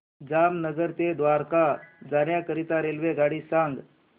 जामनगर ते द्वारका जाण्याकरीता रेल्वेगाडी सांग